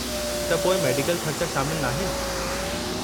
त पोइ मेडिकल ख़र्चा शामिल नाहिनि?